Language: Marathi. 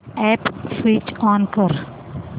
अॅप स्विच ऑन कर